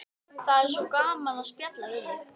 Það er svo gaman að spjalla við þig.